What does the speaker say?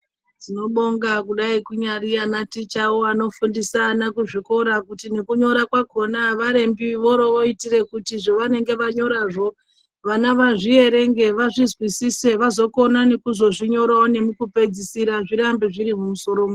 Tinobonga kudai ana tichawo anofundisa ana kuzvikora kuti kunyora kwakona ava rembi voroitira zvavanenge vanyorazvo kuti vazvierenge vazvizwisise vazokona kunyarawo nemukupedzisira zvirambe zviri musoro mawo.